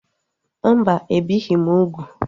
Mba, ebighị m úgwù